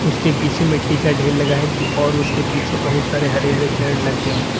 उसके पीछे मिट्टी का ढेर लगा है और उसके पीछे बहुत सारे हरे हरे पेड़ लग गए हैं।